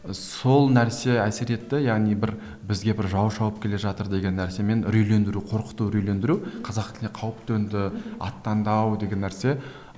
ы сол нәрсе әсер етті яғни бір бізге бір жау шауып келе жатыр деген нәрсемен үрейлендіру қорқыту үрейлендіру қазақ тіліне қауіп төнді аттандау деген нәрсе